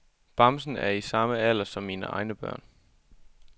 Bamsen er i samme alder som mine egne børn.